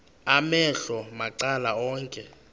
amehlo macala onke